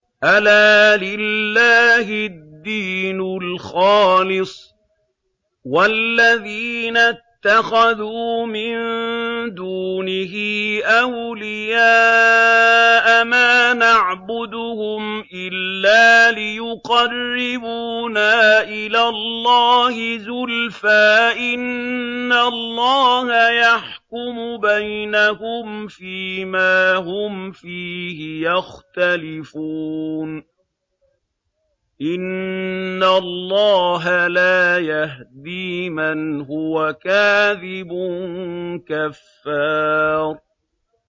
أَلَا لِلَّهِ الدِّينُ الْخَالِصُ ۚ وَالَّذِينَ اتَّخَذُوا مِن دُونِهِ أَوْلِيَاءَ مَا نَعْبُدُهُمْ إِلَّا لِيُقَرِّبُونَا إِلَى اللَّهِ زُلْفَىٰ إِنَّ اللَّهَ يَحْكُمُ بَيْنَهُمْ فِي مَا هُمْ فِيهِ يَخْتَلِفُونَ ۗ إِنَّ اللَّهَ لَا يَهْدِي مَنْ هُوَ كَاذِبٌ كَفَّارٌ